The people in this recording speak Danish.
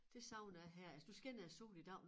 Det savner jeg her altså nu skinner æ sol i dag